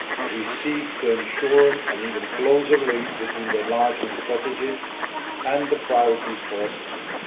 We seek to ensure an even closer link between the enlargement strategy and the priorities for assistance.